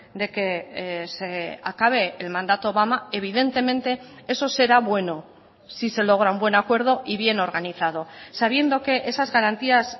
de que se acabe el mandato obama evidentemente eso será bueno si se logra un buen acuerdo y bien organizado sabiendo que esas garantías